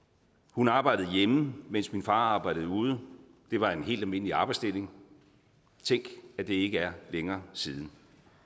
hun arbejdede hjemme mens min far arbejdede ude det var en helt almindelig arbejdsdeling tænk at det ikke er længere siden